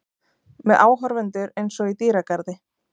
Með áhorfendur einsog í dýragarði.